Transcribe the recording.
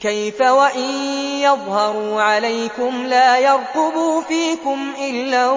كَيْفَ وَإِن يَظْهَرُوا عَلَيْكُمْ لَا يَرْقُبُوا فِيكُمْ إِلًّا